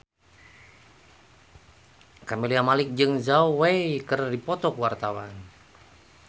Camelia Malik jeung Zhao Wei keur dipoto ku wartawan